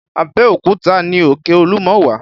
Abeokuta ni òkè olúmọ wà